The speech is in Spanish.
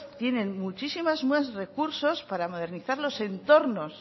tienen muchísimos más recursos para modernizar los entornos